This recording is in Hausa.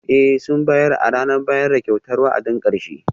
Ee, sun bayar a ranar bayar da kyautar wa'adin karshe?